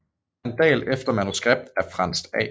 Pandal efter manuskript af Frants A